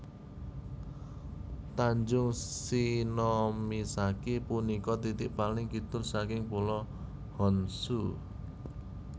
Tanjung Shionomisaki punika titik paling kidul saking Pulo Honshu